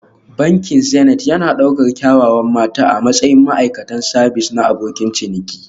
Bankin Zenith yana ɗaukar kyawawan mata a matsayin ma'aikatan sabis na abokin ciniki